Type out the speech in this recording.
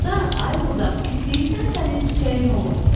Budaq, ay budaq, istəyirsən sənin çiçəyin olum?